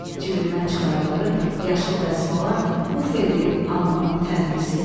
Cibindən çıxardığı yaşıl dəsmala uf eləyib alnının tərini sildi.